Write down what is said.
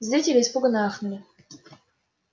зрители испуганно ахнули